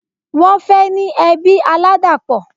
Wọ́n fẹ́ ní ẹbí aládàpọ̀